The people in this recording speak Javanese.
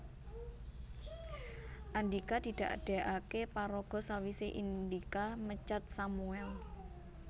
Andhika didadèkaké paraga sawisé Indika mecat Sammuel